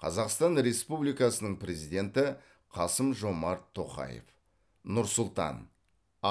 қазақстан республикасының президенті қасым жомарт тоқаев нұр сұлтан